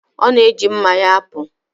Ọ na-eji mma ya apụ.